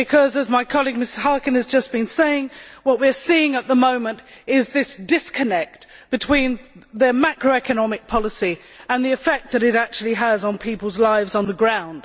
As my colleague, Ms Harkin, has just been saying, what we are seeing at the moment is a disconnect between macroeconomic policy and the effect that it actually has on people's lives on the ground.